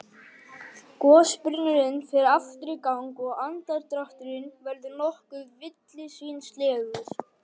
Gosbrunnurinn fer aftur í gang og andardrátturinn verður nokkuð villisvínslegur.